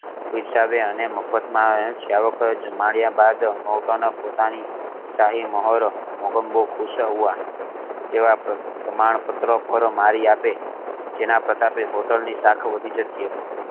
પિરસાવે અને મફત માજ શ્રાવકોએ જમાડીયા બાદ નોર્ટન પોતાની શાહી મોહર મોગેમ્બો ખુશ હુઆ એવા પ્રમાણ પત્ર પર મારી આપે જેના પ્રતાપે હોટેલ ની શાન વધી જતી હતી